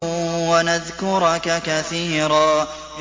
وَنَذْكُرَكَ كَثِيرًا